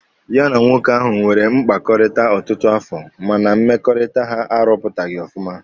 Ya na nwoke ahụ nwere mkpakọrịta ọtụtụ afọ mana mmekọrịta ha arụpụtaghị ọfụma